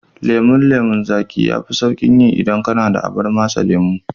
Lemon lemon zaƙi yafi sauƙin yi idan kana da abar matse lemo.